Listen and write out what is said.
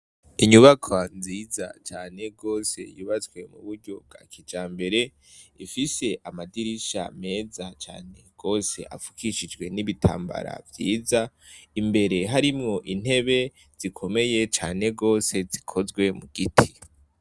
Inyubakwa nziza cane gose yubatswe mu buryo bwa kijambere ifise amadirisha meza cane gose afukishijwe n'ibitambara vyiza imbere harimwo intebe zikomeye cane gose zikozwe mu giti.